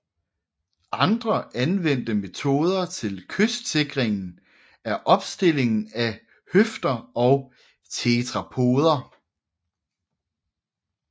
Andre anvendte metoder til kystsikringen er opstillingen af høfder og tetrapoder